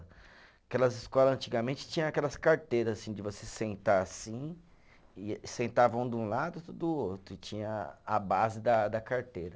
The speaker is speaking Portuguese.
Aquelas escola antigamente tinha aquelas carteira, assim, de você sentar assim, e sentava um de um lado e outro do outro, e tinha a base da da carteira.